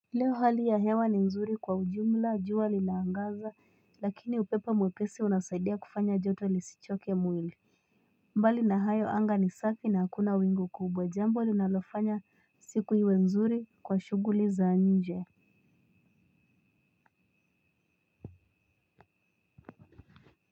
Leo hali ya hewa ni nzuri kwa ujumla jua linaangaza lakini upepo mwepesi unasaidia kufanya joto lisichoke mwili. Mbali na hayo anga ni safi na hakuna wingu kubwa jambo linalofanya siku iwe nzuri kwa shughuli za nje.